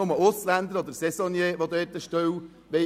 Nur Ausländer oder Saisonniers wollen dort eine Stelle annehmen.